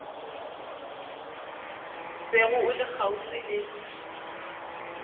bego e le kgauswi le